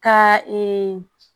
Ka